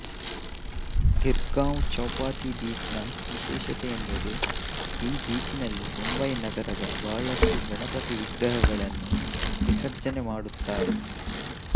ಗಿರ್ ಗಾಂವ್ Chowpatty beach ನ ವಿಶೇಷತೆಯೆಂದರೆ ಈ ಬೀಚಿನಲ್ಲಿ ಮುಂಬಯಿನಗರದ ಬಹಳಷ್ಟು ಗಣಪತಿ ವಿಗ್ರಹಗಳನ್ನು ವಿಸರ್ಜನೆಮಾಡುತ್ತಾರೆ